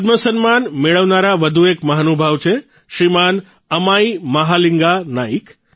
પદ્મ સન્માન મેળવનારા વધુ એક મહાનુભાવ છે શ્રીમાન અમાઇ મહાલિંગા નાઇક